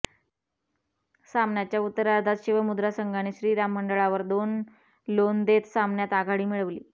सामन्याच्या उत्तरार्धात शिवमुद्रा संघाने श्री राम मंडळावर दोन लोण देत सामन्यात आघाडी मिळवली